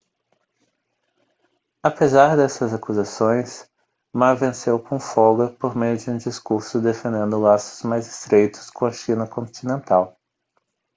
apesar dessas acusações ma venceu com folga por meio de um discurso defendendo laços mais estreitos com a china continental